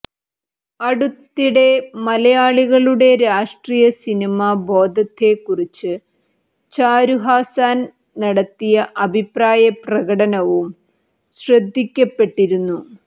അടുത്തിടെ മലയാളികളുടെ രാഷ്ട്രീയ സിനിമാ ബോധത്തെക്കുറിച്ച് ചാരുഹാസൻ നടത്തിയ അഭിപ്രായ പ്രകടനവും ശ്രദ്ധിക്കപ്പെട്ടിരുന്നു